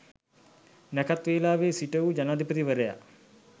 නැකැත් වේලාවෙ සිටවූ ජනාධිපතිවරයා